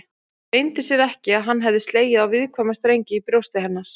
Leyndi sér ekki að hann hafði slegið á viðkvæma strengi í brjósti hennar.